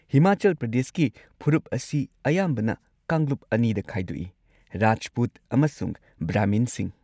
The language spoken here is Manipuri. ꯍꯤꯃꯥꯆꯜ ꯄ꯭ꯔꯗꯦꯁꯀꯤ ꯐꯨꯔꯨꯞ ꯑꯁꯤ ꯑꯌꯥꯝꯕꯅ ꯀꯥꯡꯂꯨꯞ ꯑꯅꯤꯗ ꯈꯥꯏꯗꯣꯛꯏ: ꯔꯥꯖꯄꯨꯠ ꯑꯃꯁꯨꯡ ꯕ꯭ꯔꯍꯃꯤꯟꯁꯤꯡ꯫